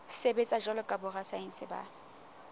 sebetsa jwalo ka borasaense ba